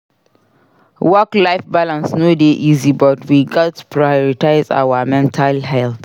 Work-life balance no dey easy but we gats prioritize our mental health.